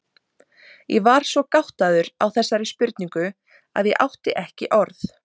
Ég var svo gáttaður á þessari spurningu að ég átti ekki orð.